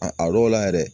A a dɔw la yɛrɛ